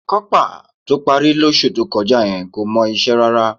Kọ́pà tó parí lóṣù tó kọjá yẹn kò mọ iṣẹ́ rárá